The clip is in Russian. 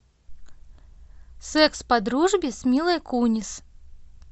секс по дружбе с милой кунис